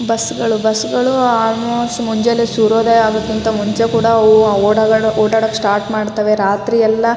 bus ಗಳು ಬಸ್ಗಳು almost ಮುಂಜಾಲೆ ಸೂರ್ಯೋದಯ ಆಗೋಕೂ ಮುಂಚೆ ಕೂಡ ಅವು ಓಡಾಡೋಕೆ ಸ್ಟಾರ್ಟ್ ಮಾಡ್ತವೆ ರಾತ್ರಿ ಎಲ್ಲ--